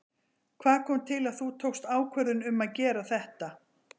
Hvað kom til að þú tókst ákvörðun um að gera þetta?